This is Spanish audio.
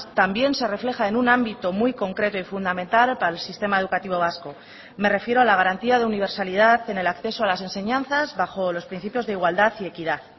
también se refleja en un ámbito muy concreto y fundamental para el sistema educativo vasco me refiero a la garantía de universalidad en el acceso a las enseñanzas bajo los principios de igualdad y equidad